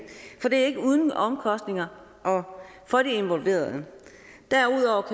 for det er ikke uden omkostninger for de involverede derudover